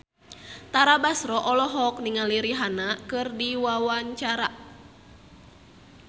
Tara Basro olohok ningali Rihanna keur diwawancara